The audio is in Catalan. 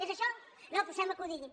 és això no sembla que ho digui